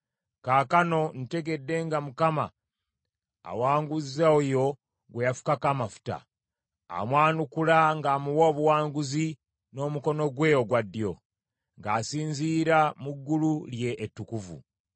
Kaakano ntegedde nga Mukama awanguza oyo gwe yafukako amafuta, amwanukula ng’amuwa obuwanguzi n’omukono gwe ogwa ddyo, ng’asinziira mu ggulu lye ettukuvu.